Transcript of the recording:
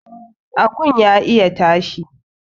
Akun ya iya tashi